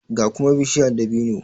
ga kuma bishiya dabino